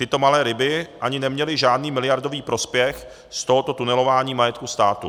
Tyto malé ryby ani neměly žádný miliardový prospěch z tohoto tunelování majetku státu.